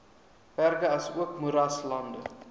berge asook moeraslande